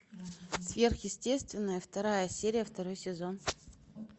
сверхъестественное вторая серия второй сезон